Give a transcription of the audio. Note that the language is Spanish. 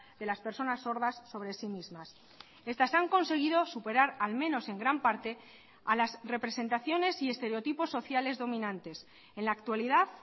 de las personas sordas sobre sí mismas estas han conseguido superar al menos en gran parte a las representaciones y estereotipos sociales dominantes en la actualidad